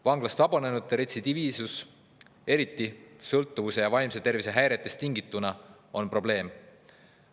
Vanglast vabanenute retsidiivsus, eriti sõltuvuse ja vaimse tervise häiretest tingituna, on probleem.